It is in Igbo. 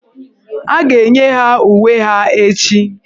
A ga-enye ha uwe ha echi.